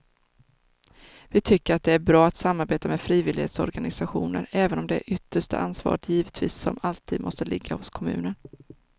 Vi tycker att det är bra att samarbeta med frivillighetsorganisationer även om det yttersta ansvaret givetvis som alltid måste ligga hos kommunen.